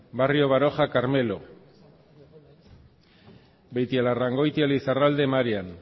barrio baroja carmelo beitialarrangoitia lizarralde marian